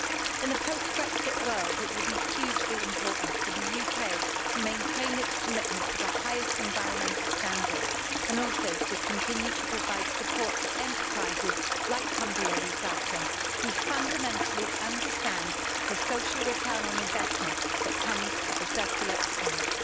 In the post-Brexit world, it will be hugely important for the UK to maintain its commitment to the highest environmental standards and also to continue to provide support for enterprises like Cumbria Recycling, who fundamentally understand the social return on investment that comes with the circular economy.